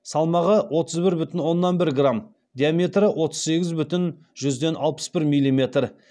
салмағы отыз бір бүтін оннан бір грамм диаметрі отыз сегіз бүтін жүзден алпыс бір милиметр